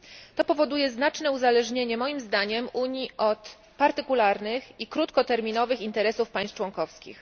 To powoduje znaczne uzależnienie, moim zdaniem, Unii od partykularnych i krótkoterminowych interesów państw członkowskich.